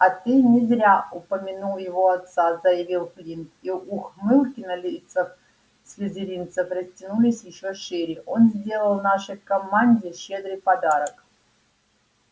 а ты не зря упомянул его отца заявил флинт и ухмылки на лицах слизеринцев растянулись ещё шире он сделал нашей команде щедрый подарок